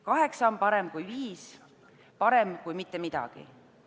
Kaheksa on parem kui viis, see on parem kui mitte midagi.